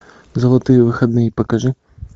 золотые выходные покажи